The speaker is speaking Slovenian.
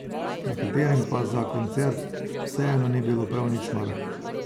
Nekaterim pa za koncert vseeno ni bilo prav nič mar.